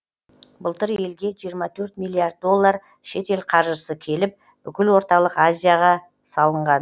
былтыр елге жиырма төрт миллиард доллар шетел қаржысы келіп бүкіл орталық азияға салынған